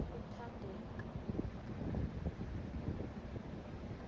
kuthandeka